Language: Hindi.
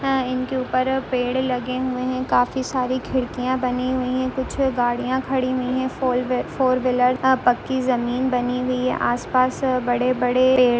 आ इनके ऊपर पेड़ लगें हुएँ है काफ़ी सारी खिड़कियां बनी हुई है कुछ गाड़िया खड़ी हुई है फोर वे फोर बिलर अ पक्की ज़मीन बनी हुई है आस पास बड़े-बड़े पेड़ --